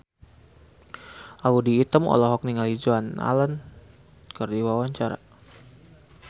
Audy Item olohok ningali Joan Allen keur diwawancara